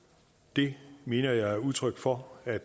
det mener jeg er udtryk for at